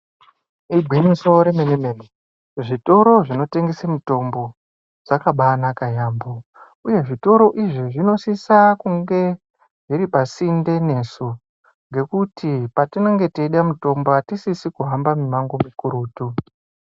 Igwinyiso remenemene kuzvitoro zvinotengesa mitombo dzakabaanaka yaamho uye zvitoro izvi zvinosise kunge zviri pasinte nesu ngekuti patinenge teide mitombo hatisisi kuhamba mimango mikurutu.